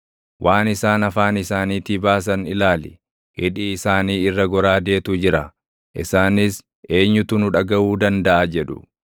Waan isaan afaan isaaniitii baasan ilaali; hidhii isaanii irra goraadeetu jira; isaanis, “Eenyutu nu dhagaʼuu dandaʼa?” jedhu.